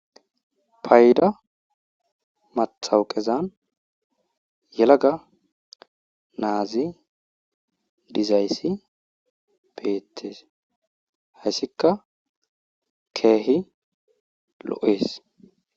Payda mattawoqezan yalaga na7azi dizayssi beetees hayssika keehi lo7ees.